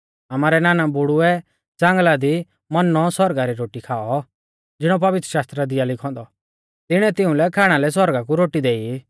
आमारै नानाबुढ़ुऐ ज़ांगल़ा दी मन्नौ सौरगा री रोटी खाऔ ज़िणौ पवित्रशास्त्रा दी आ लिखौ औन्दौ तिणीऐ तिउंलै खाणा लै सौरगा कु रोटी देई